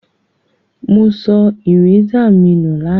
Mo so eraser mi nu làná